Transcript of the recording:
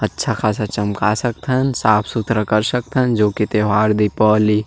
.अच्छा खासा चमका सकथन साफ़ सुथरा कर सकथन जो की त्यौहार दीपावली--